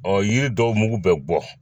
yiri dɔw mugu bɛ bɔ